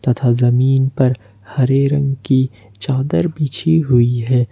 तथा जमीन पर हरे रंग की चादर बिछी हुई है।